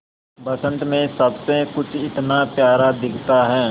बसंत मे सब कुछ इतना प्यारा दिखता है